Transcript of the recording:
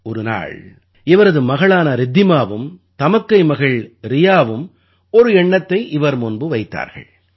ஒரு நாள் இவரது மகளான ரித்திமாவும் தமக்கை மகள் ரியாவும் ஒரு எண்ணத்தை இவர் முன்பு வைத்தார்கள்